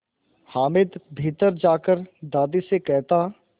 हामिद भीतर जाकर दादी से कहता